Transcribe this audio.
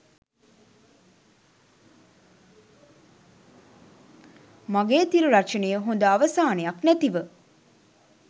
මගේ තිර රචනය හොඳ අවසානයක් නැතිව